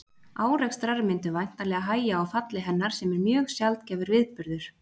Árekstrar myndu væntanlega hægja á falli hennar sem er mjög sjaldgæfur viðburður.